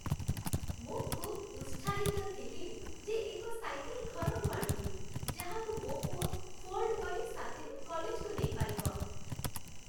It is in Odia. ମୁଁ ଖୁବ୍ ଉତ୍ସାହିତ ଥିଲି ଯେ ଏକ ସାଇକେଲ୍ ଘରକୁ ଆଣିବି, ଯାହାକୁ ମୋ ପୁଅ ଫୋଲ୍ଡ କରି ସାଥିରେ କଲେଜକୁ ନେଇପାରିବ।